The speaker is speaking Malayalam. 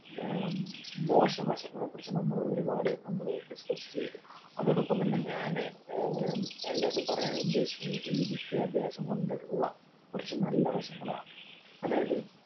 ഏർ മോശവശങ്ങളെ കുറിച്ചു നമ്മളൊരുപാട് നമ്മള് discuss ചെയ്തു. അതോടൊപ്പംതന്നെ ഞാൻ ഏർ എല്ലാരോടും പറയാൻ ഉദ്ദേശിക്കുന്നത് ഈ വിദ്യാഭ്യാസംകൊണ്ടുള്ള കുറച്ചു നല്ല വശങ്ങളാണ്. അതായത്